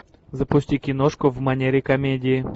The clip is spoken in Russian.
запусти киношку в манере комедии